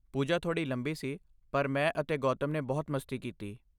ਪੂਜਾ ਥੋੜੀ ਲੰਬੀ ਸੀ, ਪਰ ਮੈਂ ਅਤੇ ਗੌਤਮ ਨੇ ਬਹੁਤ ਮਸਤੀ ਕੀਤੀ।